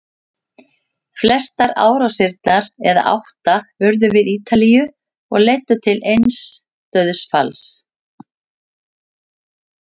Flestar árásirnar, eða átta, urðu við Ítalíu og leiddu til eins dauðsfalls.